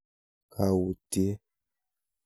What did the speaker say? Kaautyee.